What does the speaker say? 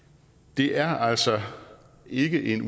det er altså ikke en